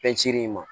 Fɛn ciri ma